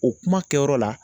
O kuma kɛyɔrɔ la